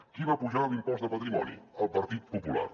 qui va apujar l’impost de patrimoni el partit popular